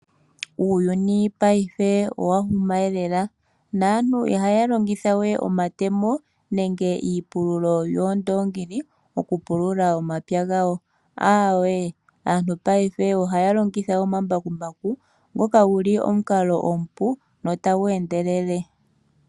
Uuyuni paife owa huma lela, naantu ihaya longithawe omatemo nenge iipululo yoondoongi, okupulula omapya gawo , aantu paife ohaya longitha omambakumbaku ngoka guli omukalo omupu notagu endelele.